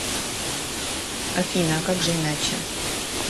афина а как же иначе